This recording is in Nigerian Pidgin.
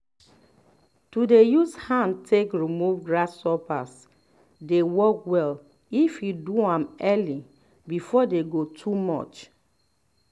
to um dey use hand take remove grasshoppers dey work well if you do am early before dey go too much